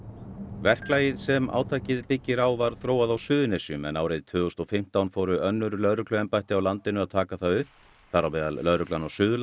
verklagið sem átakið byggir á var þróað á Suðurnesjum en árið tvö þúsund og fimmtán fóru önnur lögregluembætti á landinu að taka það upp þar á meðal lögreglan á Suðurlandi